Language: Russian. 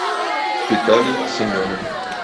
виталий семенов